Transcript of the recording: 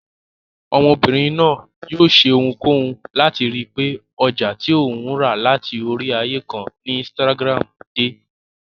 Ọmọbìnrin náà yóò ṣe ohunkóhun láti ríi wípé ọjà tí òun rà láti orí ààyè kan ni insitagiramu dé.